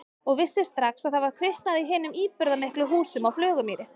Og vissi strax að það var kviknað í hinum íburðarmiklu húsum á Flugumýri.